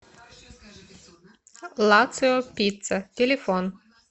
лацио пицца телефон